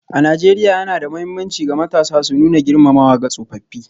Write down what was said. A Najeriya, yana da mahimmanci ga matasa su nuna girmamawa ga tsofaffi.